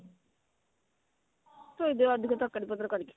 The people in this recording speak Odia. ଥୋଇ ଦିଏ ଅଧିକ ତରକାରୀ ପତ୍ର କରିକି